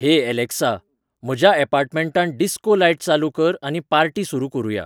हे अलॅक्सा, म्हज्या अपार्टमँटांत डिस्को लायट चालू कर आनी पार्टी सुरू करुया